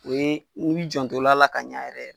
O ye i wi janto la l'a ka ɲa yɛrɛ